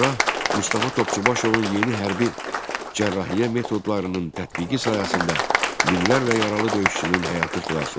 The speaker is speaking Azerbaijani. Cərrah Mustafa Topçubaşovun yeni hərbi cərrahiyyə metodlarının tətbiqi sayəsində minlərlə yaralı döyüşçünün həyatı xilas oldu.